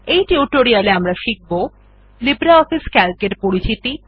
এই টিউটোরিয়াল এ আমরা শিখব লিব্রিঅফিস সিএএলসি এর পরিচিতি